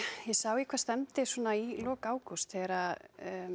ég sá í hvað stefndi svona í lok ágúst þegar